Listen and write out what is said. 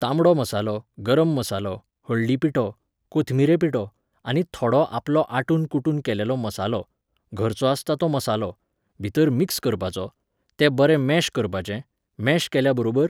तांबडो मसालो, गरम मसालो, हळदी पिठो, कोथमिरे पिठो, आनी थोडो आपलो आटून कुटून केलेलो मसालो, घरचो आसता तो मसालो, भितर मिक्स करपाचो, तें बरें मॅश करपाचें, मॅश केल्या बरोबर